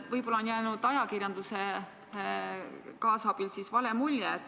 Võib-olla on ajakirjanduse kaasabil jäänud vale mulje.